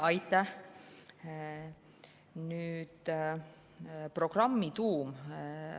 Aitäh!